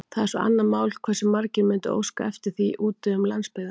Það er svo annað mál, hversu margir mundu óska eftir því úti um landsbyggðina.